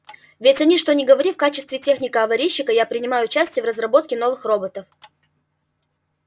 ведь что ни говори в качестве техника-аварийщика я принимаю участие в разработке новых роботов